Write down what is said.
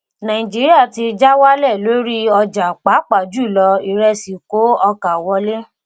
nàìjíríà ti ja wálẹ̀ lórí ọjà pàápà jùlọ ìrẹsì kó ọkà wọlé.